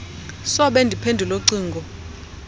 sobe ndiphendule cingo